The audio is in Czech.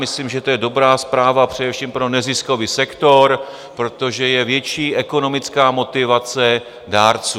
Myslím, že to je dobrá zpráva především pro neziskový sektor, protože je větší ekonomická motivace dárců.